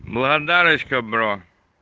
благодарочка бро